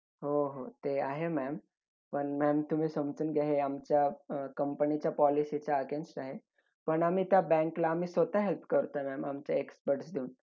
नंतर भारतीय बोललं सर्जी नाईक एकोणीस सत्तावीस कानपूर ला